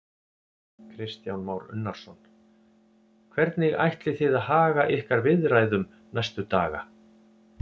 Kristján Már Unnarsson: Hvernig ætlið þið að haga ykkar viðræðum næstu daga?